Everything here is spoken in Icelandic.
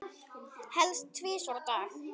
Helst tvisvar á dag.